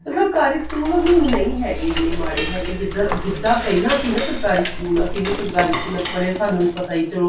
ਤੇ ਸਰਕਾਰੀ school ਹੁਣ ਨਹੀਂ ਹੈਗੀ ਇੰਨੀ ਮਾੜੇ ਹੈਗੇ ਜਿੱਦਾਂ ਜਿੱਦਾਂ ਪਹਿਲਾਂ ਸੀ ਨਾ ਸਰਕਾਰੀ school ਅਸੀਂ ਵੀ ਸਰਕਾਰੀ ਸਕੂਲਾ ਚ ਪੜ੍ਹੇ ਆ ਸਾਨੂੰ ਵੀ ਪਤਾ ਈ ਚਲੋ